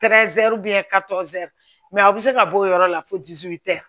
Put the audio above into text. a bɛ se ka bɔ o yɔrɔ la fo